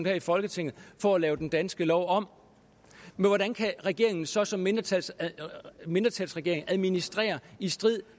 her i folketinget for at lave den danske lov om men hvordan kan regeringen så som mindretalsregering mindretalsregering administrere i strid